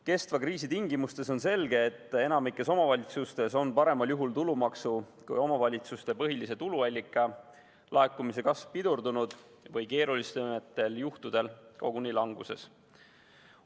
Kestva kriisi tingimustes on selge, et enamikus omavalitsustes on tulumaksu kui omavalitsuste põhilise tuluallika laekumise kasv paremal juhul pidurdunud või keerulisematel juhtudel koguni languses.